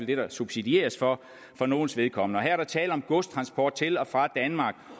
det der subsidieres for for nogles vedkommende og her er der tale om godstransport til og fra danmark